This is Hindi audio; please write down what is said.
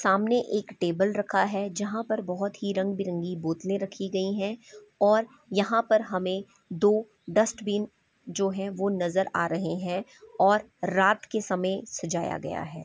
सामने एक टेबल रखा है जहाँ पर बहोत ही रंग-बिरंगी बोतले रखी गई है और यहाँ पर हमें दो डस्टबिन जो है वो नजर आ रहे है और रात के समय सजाया गया है।